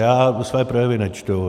Já své projevy nečtu.